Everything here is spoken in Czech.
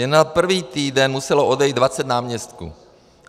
Jen za první týden muselo odejít 20 náměstků.